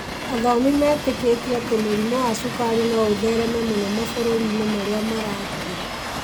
Athomi metĩkĩtie atĩ mũrimũ wa cukari no ũthereme mũno mabũrũri-inĩ marĩa marakũra.